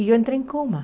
E eu entrei em coma.